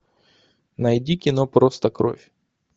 найди кино просто кровь